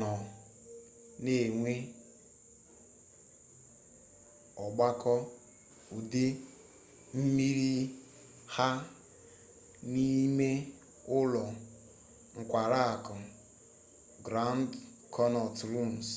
nọ na-enwe ọgbakọ udu mmiri ha n'ime ụlọ nkwari akụ grand konnọt rums